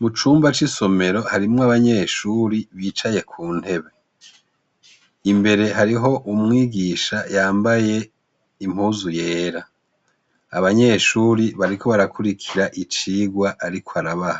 Mucumba c' isomero harimwo abanyeshuri bicaye ku ntebe imbere hariho umwigisha yambaye impuzu yera abanyeshure bariko barakurikira icigwa ariko araba